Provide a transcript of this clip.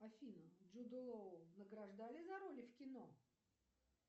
афина джуда лоу награждали за роли в кино